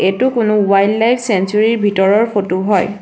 এইটো কোনো wildlife sanctuary ভিতৰৰ ফটো হয়।